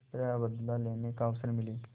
किसी तरह बदला लेने का अवसर मिले